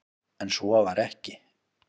En svo var ekki.